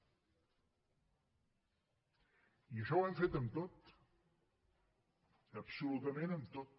i això ho hem fet amb tot absolutament amb tot